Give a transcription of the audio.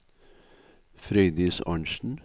Frøydis Arntzen